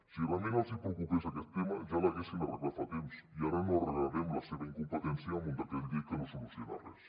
si realment els preocupés aquest tema ja l’haurien arreglat fa temps i ara no arreglarem la seva incompetència amb un decret llei que no soluciona res